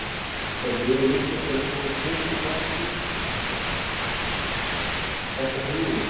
Er liðið líklegt til að komast beint aftur upp ef það fer niður?